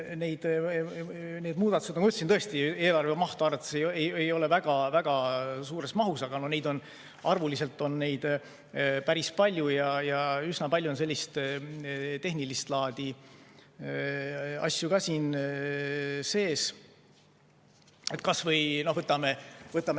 Need muudatused tõesti eelarve mahtu vaadates ei ole väga suures mahus, aga arvuliselt on neid päris palju, ja üsna palju on selliseid tehnilist laadi asju ka siin sees.